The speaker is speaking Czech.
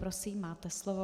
Prosím, máte slovo.